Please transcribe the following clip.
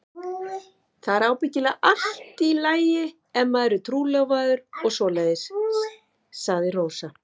Það er ábyggilega allt í lagi ef maður er trúlofaður og svoleiðis, sagði Rósa.